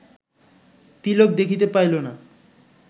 তিলক দেখিতে পাইল না